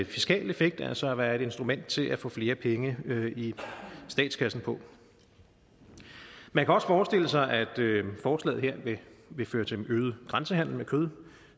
fiskalt effekt altså være et instrument til at få flere penge i statskassen på man kan også forestille sig at forslaget her vil føre til en øget grænsehandel med kød